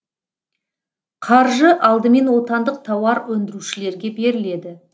қаржы алдымен отандық тауар өндірушілерге беріледі